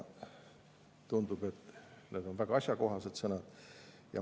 Tundub, et need on väga asjakohased sõnad.